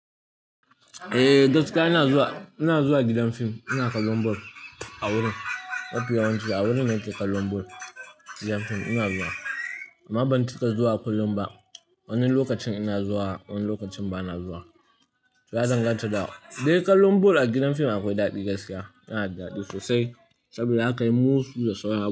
Eh gaskiya ina zuwa, ina zuwa gidan fim. Ina kallon ball a wurin. Mafi yawanci a wurin na ke kallon ball. Gidan fim ina zuwa amma ban cika zuwa kullum ba. Wani lokacin ina zuwa, wani lokacin ba na zuwa. To ya danganta da Dai kallon ball a gidan fim akwai daɗi gaskiya, yana daɗi sosai saboda zakayi musu da sauran a.